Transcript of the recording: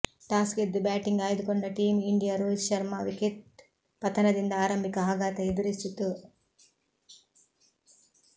toss ಗೆದ್ದು batting ಆಯ್ದುಕೊಂಡ team India Rohit Sharma wicket ಪತನದಿಂದ ಆರಂಭಿಕ ಆಘಾತ ಎದುರಿಸಿತು